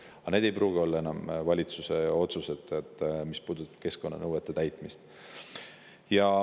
Aga need ei pruugi olla enam valitsuse otsused, mis puudutavad keskkonnanõuete täitmist.